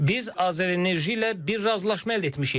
Biz AzərEnerji ilə bir razılaşma əldə etmişik.